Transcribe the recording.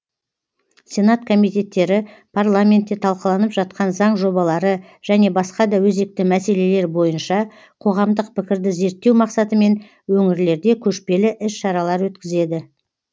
сенат комитеттері парламентте талқыланып жатқан заң жобалары және басқа да өзекті мәселелер бойынша қоғамдық пікірді зерттеу мақсатымен өңірлерде көшпелі іс шаралар өткізеді